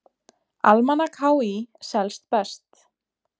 Almanak HÍ selst best